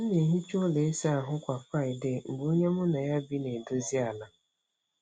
M na-ehicha ụlọ ịsa ahụ kwa Friday mgbe onye mụ na ya bi na-edozi ala.